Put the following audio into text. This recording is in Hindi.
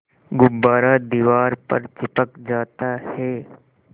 गुब्बारा दीवार पर चिपक जाता है